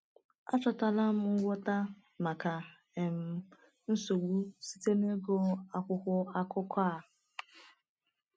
Achọtala m ngwọta maka um nsogbu site n’ịgụ akwụkwọ akụkọ a.